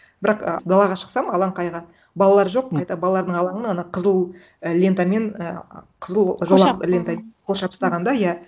бірақ і далаға шықсам алаңқайға балалар жоқ қайта балалардың алаңы ана қызыл і лентамен ііі қызыл жолақ лентамен қоршап тастаған да иә